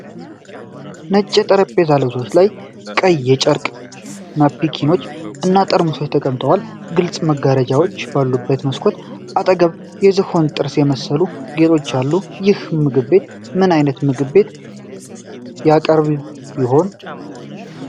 ነጭ የጠረጴዛ ልብሶች ላይ ቀይ የጨርቅ ናፕኪኖች እና ጠርሙሶች ተቀምጠዋል። ግልጽ መጋረጃዎች ባሉበት መስኮት አጠገብ የዝሆን ጥርስ የሚመስሉ ጌጦች አሉ። ይህ ምግብ ቤት ምን አይነት ምግብ ያቀርብ ይሆን?